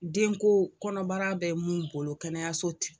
Denko kɔnɔbara bɛ mun bolo kɛnɛyaso